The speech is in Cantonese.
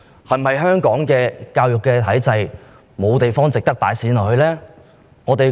香港的教育體制是否沒有值得投放資源的地方？